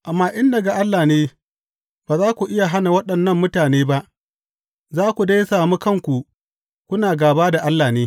Amma in daga Allah ne, ba za ku iya hana waɗannan mutane ba, za ku dai sami kanku kuna gāba da Allah ne.